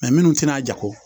minnu tɛna jago